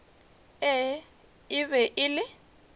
ee e be e le